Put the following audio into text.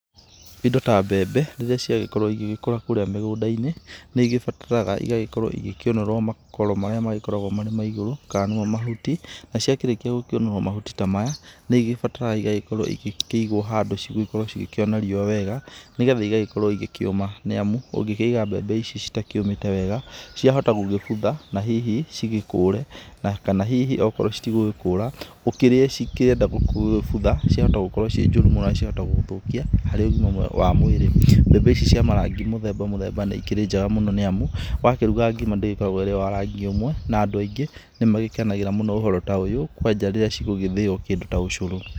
Indo ta mbebe, rĩrĩa ciagĩkorwo igĩgĩkũra kũrĩa mĩgũnda-inĩ, nĩ ĩgĩbataraga igagĩkorwo igĩkĩũnũrwo makoro marĩa magĩkoragwo mari ma igũrũ kana nĩmo mahuti, na ciakĩrikia gũkĩũnũrwo mahuti ta maya, nĩ igĩbataraga igagĩkorwo igĩkĩigwo handũ cigũgĩkorwo cigĩkĩona riũa wega, nĩ getha igagĩkorwo igĩkĩũma. Nĩ amu ũngĩkĩiga mbebe ici citakĩũmĩte wega ciahota gũgĩbutha na hihi cigĩkũũre kana hihi okorwo citigũgĩkũũra ũkĩrie cikĩenda gũgĩbutha ciahota gũkorwo ciĩ njũru mũno na ciahota gũgũthũkia harĩ ũgima wa mwĩrĩ. Mbebe ici cia marangi mũthemba mũthemba nĩ ikĩrĩ njega mũno na ni amu, wa kĩruga ngima ndĩgĩkoragwo ĩ wa rangi ũmwe na andũ aingĩ ni magĩkenagĩra mũno ũhoro ta ũyũ, kwaja rĩrĩa cigũgĩthĩo kĩndũ ta ũcũrũ.